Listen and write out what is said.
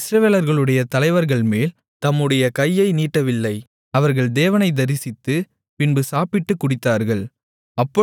அவர் இஸ்ரவேலர்களுடைய தலைவர்கள்மேல் தம்முடைய கையை நீட்டவில்லை அவர்கள் தேவனைத் தரிசித்து பின்பு சாப்பிட்டுக் குடித்தார்கள்